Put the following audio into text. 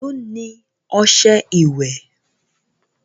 èló ní ọṣẹ ìwé?